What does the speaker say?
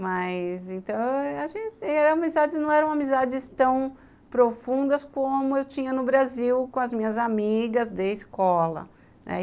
Mas então eram amizades tão profundas como eu tinha no Brasil com as minhas amigas de escola.